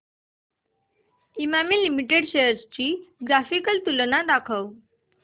Emami limited shares ची graphical तुलना दाखव